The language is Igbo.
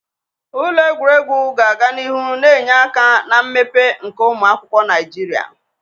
Ụlọ egwuregwu ga-aga n'ihu na-enye aka na mmepe nke ụmụ akwụkwọ Naijiria.